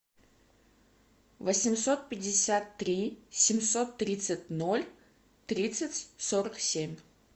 восемьсот пятьдесят три семьсот тридцать ноль тридцать сорок семь